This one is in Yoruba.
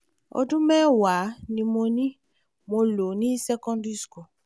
ọdún mẹ́wàá ni mo ni mo lò ní secondary school